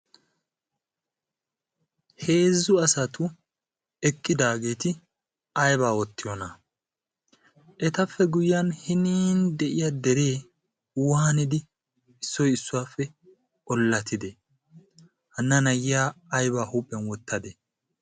Heezzu asatu eqqidaageeti aibaa oottiyoona etappe guyyiyan hinin de'iya deree waanidi issoi issuwaappe ollatidee hanna nayyiya aibaa huuphiyan wottadee?